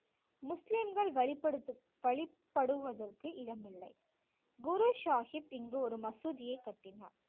முஸ்லிம்கள் வழிபடுத்து~ வழிபடுவதற்கு இடமில்லை குரு சாஹிப் இங்கு ஒரு மசூதியை கட்டினார்